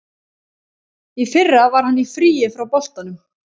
Í fyrra var hann í fríi frá boltanum.